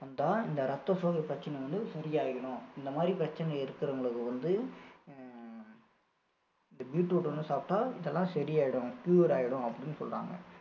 வந்தா இந்த ரத்த சோகை பிரச்சனை வந்து சரியாகிடும் இந்த மாதிரி பிரச்சனை இருக்கிறவங்களுக்கு வந்து அஹ் beetroot வந்து சாப்பிட்டா இதெல்லாம் சரி ஆயிடும் cure ஆகிடும் அப்படின்னு சொல்றாங்க